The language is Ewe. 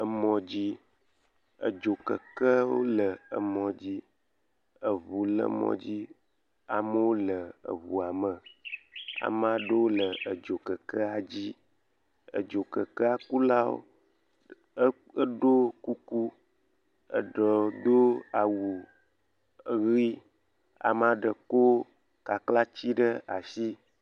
Emɔ dzi. Edzokekewo le kɔdzi. Eʋu le mɔdzi. Amewo le eʋua me. Ame aɖewo le edzi kekea dzi. Edzokekekula la ɖo kuku eye wodo awu ɣi. Ame aɖe kɔ aklati ɖe asi.